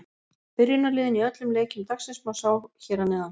Byrjunarliðin í öllum leikjum dagsins má sjá hér að neðan.